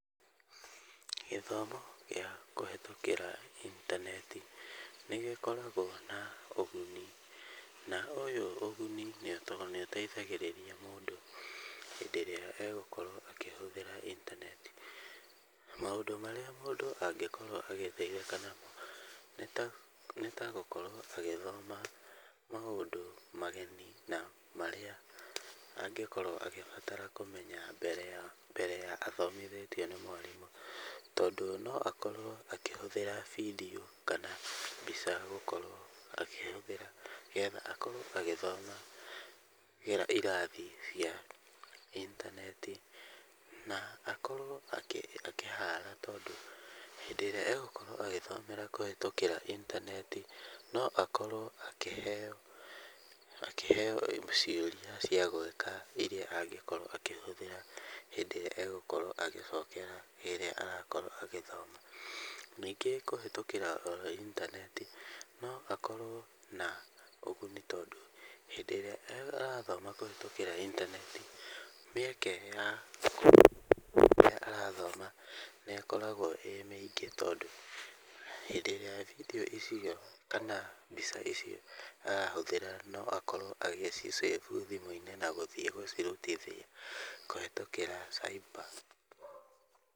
Gĩthomo gĩa kũhetũkĩra intaneti nĩ gĩkoragwo na ũguni, na ũyũ ũguni nĩ ũteithagĩrĩria mũndũ hĩndĩ ĩrĩa egũkorwo akĩhũthĩra intaneti. Na maũndũ marĩa mũndũ angĩkorwo agĩteithĩka namo, nĩtagũkorwo agĩthoma maũndũ mageni na marĩa angĩkorwo agĩbatara kũmenya mbere ya athomithĩtio nĩ mwarimũ. Tondũ noakorwo akĩhũthĩra bindiũ kana mbica gũkorwo agĩthoma gera irathi cia intaneti na akorwo akĩhara, tondũ hĩndĩ ĩrĩa egũkorwo agĩthomera kũhetũkĩra intaneti, no akorwo akĩheyo cioria ciagũĩka iria angĩkorwo akĩhũthĩra hĩndĩ ĩrĩa egũkorwo agĩcokera rĩrĩa agakorwo agĩthoma. Ningĩ kũhetũkĩra oro intaneti, no akorwo na ũguni tondũ, hĩndĩ ĩrĩa arathoma kũhetũkĩra intaneti, mĩeke ya rĩrĩa arathoma nĩ ĩkoragwo ĩ mĩingĩ tondũ hĩndĩ ĩrĩa bindiũ icio kana, mbica icio arahũthĩra noakorwo agĩci save thimũ-inĩ na gũthiĩ gũcirutithia kũhetũkĩra cyber .